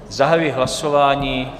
Zahajuji hlasování.